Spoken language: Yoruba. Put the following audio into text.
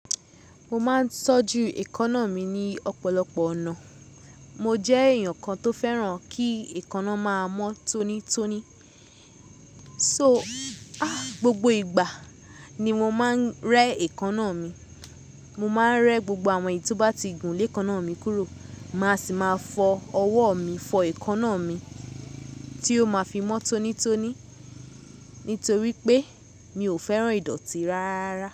Mo máa ń tọ́jú èékánná mi ní ọ̀pọ̀lọpọ̀ ọ̀nà. Mo jẹ́ èèyàn kan tó fẹ́ràn kí èékánná máa mọ́ tónítóní. So, a! Gbogbo ìgbà ni mo máa ń rẹ́ èékánná mi. Mo máa ń rẹ́ gbogbo àwọn èyí tó bá ti gùn lé èékánná mi kúrò, màá sì máa fọ ọwọ́ mi fọ èékánná mi tí ó máa fi mọ́ tónítóní; nítorí pé mi ò fẹ́ràn ìdọ̀tí rárá.